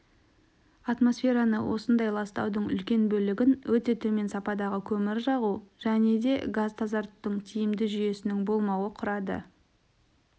атмосфераны осындай ластаудың үлкен бөлігін өте төмен сападағы көмір жағу және де газ тазартудың тиімді жүйесінің болмауы құрады